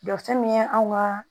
Jɔ fɛn min ye anw ka